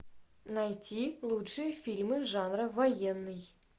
найти лучшие фильмы жанра военный